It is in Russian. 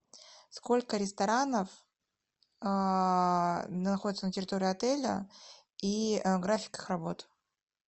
сколько ресторанов находится на территории отеля и график их работы